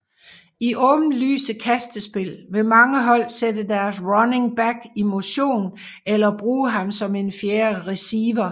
I åbenlyse kastespil vil mange hold sætte deres running back i motion eller bruge ham som en fjerde receiver